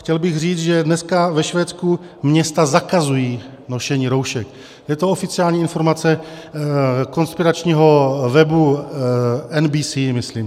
Chtěl bych říct, že dneska ve Švédsku města zakazují nošení roušek, je to oficiální informace konspiračního webu NBC myslím.